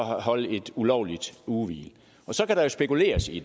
holde et ulovligt ugehvil så kan der jo spekuleres i